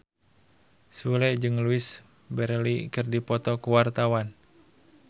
Sule jeung Louise Brealey keur dipoto ku wartawan